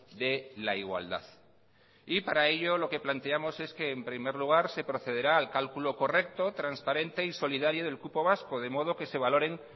de la igualdad y para ello lo que planteamos es que en primer lugar se procederá al cálculo correcto transparente y solidario del cupo vasco de modo que se valoren